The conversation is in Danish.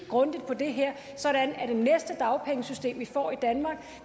grundigt på det her sådan at det næste dagpengesystem vi får i danmark